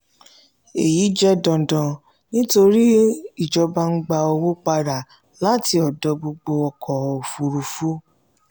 èyí jẹ́ dandan nítorí ìjọba ń gba owó padà láti ọ̀dọ̀ gbogbo ọkọ̀ òfúrufú.